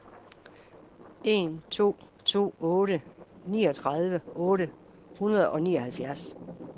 en to to otte niogtredive otte hundrede og nioghalvfjerds